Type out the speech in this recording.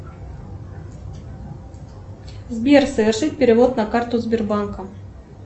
сбер совершить перевод на карту сбербанка